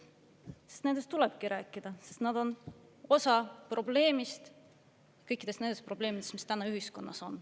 Sest nendest tulebki rääkida, nad on osa probleemist, kõikidest nendest probleemidest, mis täna ühiskonnas on.